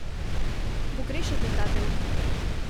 Pogrešate ta del?